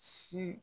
Si